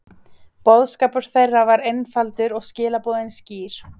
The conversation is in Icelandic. Boðskapur þeirra var einfaldur og skilaboðin skýr.